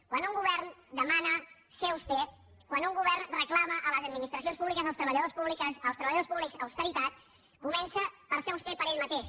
quan un govern demana ser auster quan un govern reclama a les administracions públiques als treballadors públics austeritat comença per ser auster ell mateix